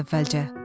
dedi əvvəlcə.